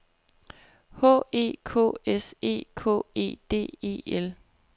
H E K S E K E D E L